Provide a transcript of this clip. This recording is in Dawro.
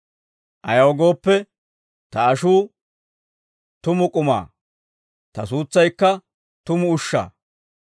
Ayaw gooppe, ta ashuu tumu k'umaa; ta suutsaykka tumu ushshaa.